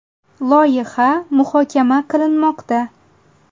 Loyiha muhokama qilinmoqda.